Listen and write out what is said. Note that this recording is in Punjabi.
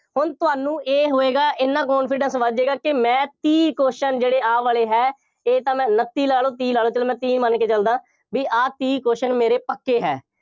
ਹੁਣ ਤੁਹਾਨੂੰ ਇਹ ਹੋਏਗਾ, ਐਨਾ confidence ਵੱਧ ਜਾਏਗਾ ਕਿ ਮੈਂ ਤੀਹ question ਜਿਹੜੇ ਆਹ ਵਾਲੇ ਹੈ, ਇਹ ਤਾਂ ਮੈਂ ਉਨੱਤੀ ਲਾ ਲਓ, ਤੀਹ ਲਾ ਲਓ, ਚੱਲੋ ਮੈਂ ਤੀਹ ਮੰਨ ਕੇ ਚੱਲਦਾ, ਬਈ ਆਹ ਤੀਹ question ਮੇਰੇ ਪੱਕੇ ਹੈ।